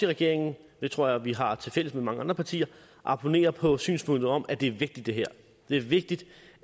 regeringen det tror jeg vi har tilfælles med mange andre partier abonnerer på synspunktet om at det her er vigtigt det er vigtigt